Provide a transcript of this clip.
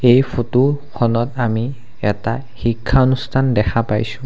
এই ফটো খনত আমি এটা শিক্ষানুষ্ঠান দেখা পাইছোঁ।